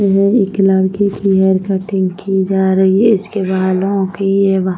वहा एक लड़की की हेयर कटिंग की जा रही है इसकी बालों की--